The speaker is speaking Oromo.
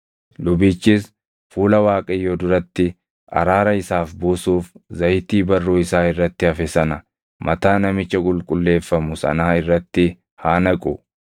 Lubichis fuula Waaqayyoo duratti araara isaaf buusuuf zayitii barruu isaa irratti hafe sana mataa namicha qulqulleeffamu sanaa irratti haa naqu.